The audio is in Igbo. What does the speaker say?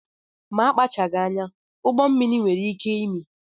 Ma a kpachaghị anya, ụgbọmmiri nwere ike imi